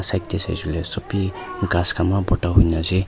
side de saishe koi ley sobi ghas khan eman phorta hoi kena ase.